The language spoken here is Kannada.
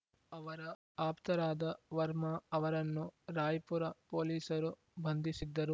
ಅವರ ಆಪ್ತರಾದ ವರ್ಮಾ ಅವರನ್ನು ರಾಯ್‌ಪುರ ಪೊಲೀಸರು ಬಂಧಿಸಿದ್ದರು